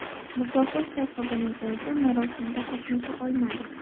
Mukofot sohibining o‘zi marosimda qatnasha olmadi.